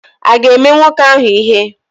Ị ga-eme nwoke ahụ ihe?